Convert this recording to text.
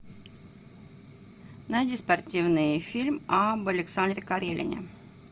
найди спортивный фильм об александре карелине